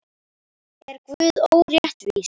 Eggjastokkarnir og eistun eru lokaðir og opnir kirtlar.